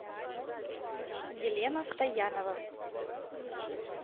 елена стоянова